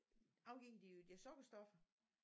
Afgiver de jo de der sukkerstoffer